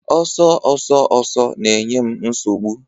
Ọsọ ọsọ ọsọ na-enye m nsogbu